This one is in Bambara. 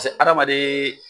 Pase adamaden.